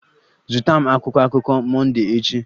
Zụta m akwụkwọ akụkọ Monday echi!